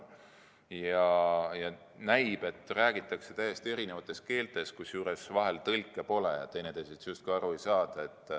Näib, et räägitakse täiesti eri keelt, kusjuures tõlke vahel pole ja teineteisest justkui aru ei saada.